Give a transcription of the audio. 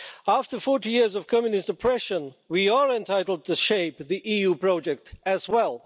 After 40 years of Communist oppression, we are entitled to shape the EU project as well.